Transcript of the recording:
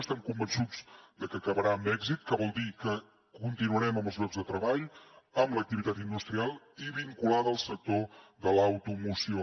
estem convençuts de que acabarà amb èxit que vol dir que continuarem amb els llocs de treball amb l’activitat industrial i vinculada al sector de l’automoció